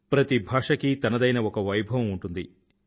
ప్రతి భాషకీ తనదైన ఒక వైభవం ఉంటుంది